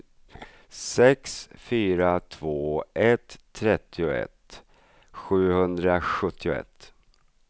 sex fyra två ett trettioett sjuhundrasjuttioett